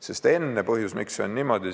Miks on niimoodi?